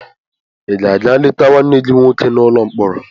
Ị ga-aga leta nwanne gị nwoke n'ụlọ mkpọrọ.